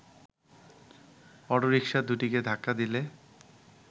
autorickshaw দুটিকে ধাক্কা দিলে